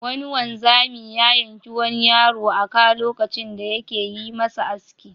Wani wanzami ya yanki wani yaro a ka lokacin da yake yi masa aski.